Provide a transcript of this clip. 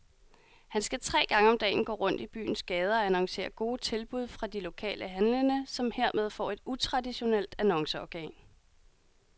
Han skal tre gange om dagen gå rundt i byens gader og annoncere gode tilbud fra de lokale handlende, som hermed får et utraditionelt annonceorgan.